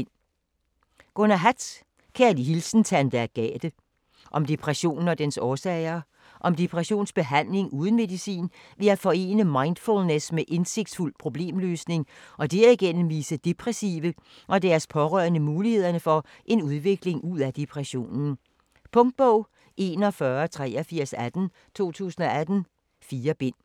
Hatt, Gunnar: Kærlig hilsen Tante Agathe Om depression og dens årsager. Om depressionsbehandling uden medicin ved at forene mindfullness med indsigtsfuld problemløsning og derigennem vise depressive og deres pårørende mulighederne for en udvikling ud af depressionen. Punktbog 418318 2018. 4 bind.